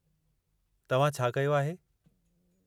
तव्हां छा कयो आहे?